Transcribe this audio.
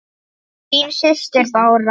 Þín systir, Bára.